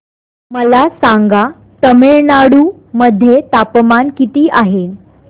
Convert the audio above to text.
मला सांगा तमिळनाडू मध्ये तापमान किती आहे